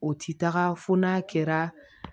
O ti taga fo n'a kɛra